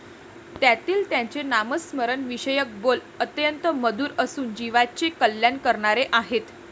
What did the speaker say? त्यातील त्यांचे नामस्मरणाविषयक बोल अत्यंत मधुर असून जीवाचे कल्याण करणारे आहेत.